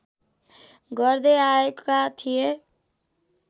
गर्दै आएका थिए